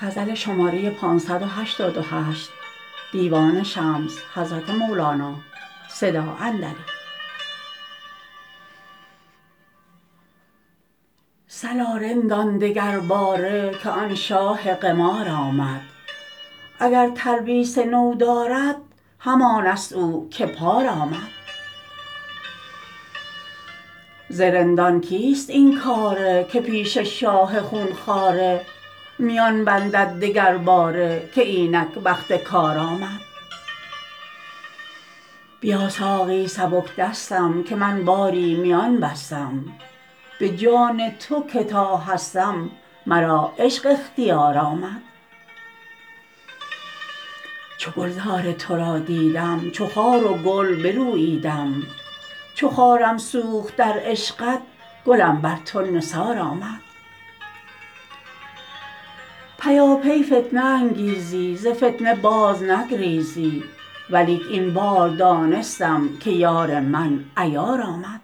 صلا رندان دگرباره که آن شاه قمار آمد اگر تلبیس نو دارد همانست او که پار آمد ز رندان کیست این کاره که پیش شاه خون خواره میان بندد دگرباره که اینک وقت کار آمد بیا ساقی سبک دستم که من باری میان بستم به جان تو که تا هستم مرا عشق اختیار آمد چو گلزار تو را دیدم چو خار و گل بروییدم چو خارم سوخت در عشقت گلم بر تو نثار آمد پیاپی فتنه انگیزی ز فتنه بازنگریزی ولیک این بار دانستم که یار من عیار آمد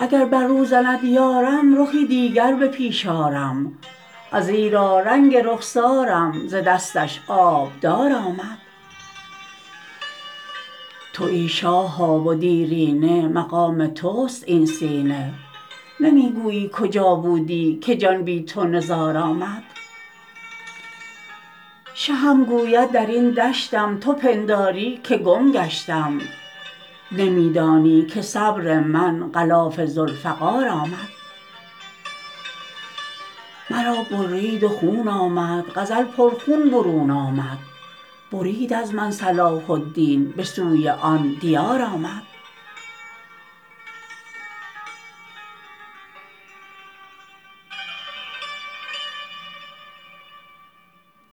اگر بر رو زند یارم رخی دیگر به پیش آرم ازیرا رنگ رخسارم ز دستش آبدار آمد توی شاها و دیرینه مقام تست این سینه نمی گویی کجا بودی که جان بی تو نزار آمد شهم گوید در این دشتم تو پنداری که گم گشتم نمی دانی که صبر من غلاف ذوالفقار آمد مرا برید و خون آمد غزل پرخون برون آمد برید از من صلاح الدین به سوی آن دیار آمد